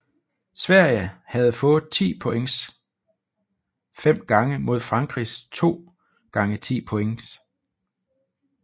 Sverige havde fået 10 points fem gange mod Frankrigs to gange 10 points